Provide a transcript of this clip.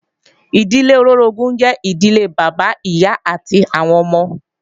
Ìdílé olóorogún jẹ́ ìdílé Bàbá, Ìyá àti àwọn ọmọ